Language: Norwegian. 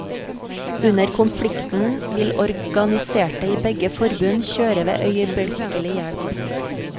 Under konflikten vil organiserte i begge forbund kjøre ved øyeblikkelig hjelp.